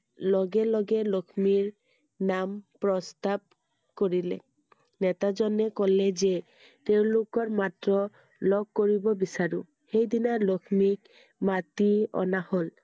লগে লগে লক্ষ্মীৰ নাম প্ৰস্তাৱ কৰিলে নেতা জনে কলে যে তেওঁলোকৰ মাত্ৰ লগ কৰিব বিচাৰো সেইদিনা লক্ষ্মীক মাতি অনা হ'ল I